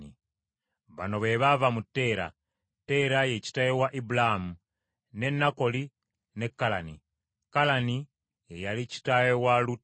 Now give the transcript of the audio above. Bino bye bifa ku b’olulyo lwa Teera: Teera ye kitaawe wa Ibulaamu, ne Nakoli ne Kalani; Kalani ye yali kitaawe wa Lutti.